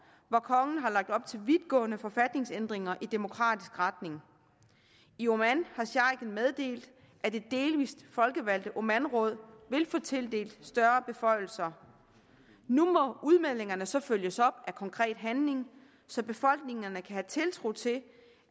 hvor kongen har lagt op til vidtgående forfatningsændringer i demokratisk retning i oman har sheiken meddelt at det delvist folkevalgte omanråd vil få tildelt større beføjelser nu må udmeldingerne så følges op af konkret handling så befolkningerne kan have tiltro til